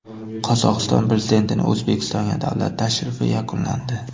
Qozog‘iston prezidentining O‘zbekistonga davlat tashrifi yakunlandi.